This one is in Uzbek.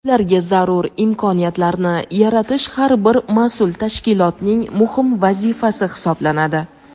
Ularga zarur imkoniyatlarni yaratish har bir mas’ul tashkilotning muhim vazifasi hisoblanadi.